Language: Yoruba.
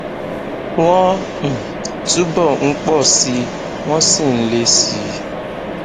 wọn um túbọ ń pọ síi wọn sì ń le síi